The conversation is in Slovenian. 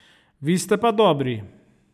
Vi ste pa dobri!